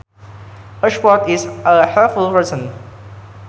A sport is a helpful person